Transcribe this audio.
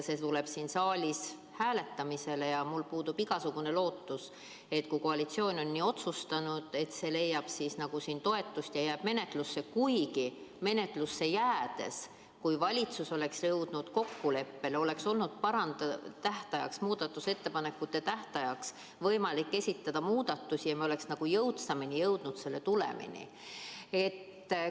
See tuleb siin saalis hääletamisele, aga mul puudub igasugune lootus, et kui koalitsioon on nii otsustanud, siis see leiab ikkagi toetust ja jääb menetlusse, kuigi menetlusse jäämise korral, kui valitsus oleks jõudnud kokkuleppele, oleks olnud võimalik muudatusettepanekute tähtajaks esitada muudatusi ja me oleks jõudsamini selle tulemini jõudnud.